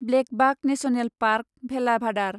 blackbuck national park, Velavadar